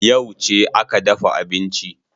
Yauce aka dafa abinci?